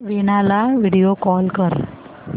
वीणा ला video call कर